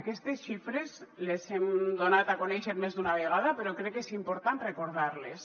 aquestes xifres les hem donat a conèixer més d’una vegada però crec que és important recordar les